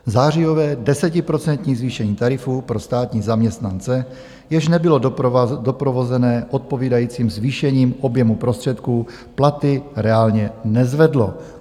Zářijové desetiprocentní zvýšení tarifů pro státní zaměstnance, jež nebylo doprovozené odpovídajícím zvýšením objemu prostředků, platy reálně nezvedlo.